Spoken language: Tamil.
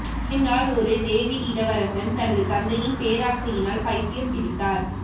ஹேம்லால் ஒரு டேவிட் இளவரசன் தனது தந்தையின் பேராசையினால் பைத்தியம் பிடித்தார்